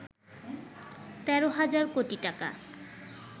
১৩ হাজার কোটি টাকা